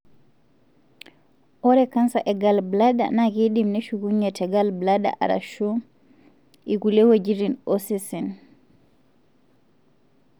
ore canser e gallbladder na kindim neshukunyie te gallbladder arashu ikulie weujitin osesen.